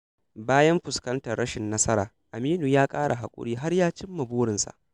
Bayan fuskantar rashin nasara, Aminu ya ƙara haƙuri har ya cim ma burinsa.